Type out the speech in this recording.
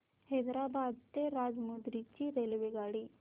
हैदराबाद ते राजमुंद्री ची रेल्वेगाडी